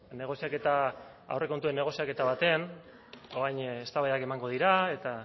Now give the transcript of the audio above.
negoziaketa aurrekontuen negoziaketa batean orain eztabaidak emango dira eta